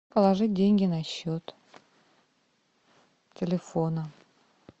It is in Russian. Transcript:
положить деньги на счет телефона